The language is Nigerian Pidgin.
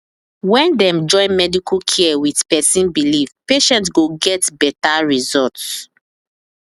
when dem join medical care with person believe patient go get better result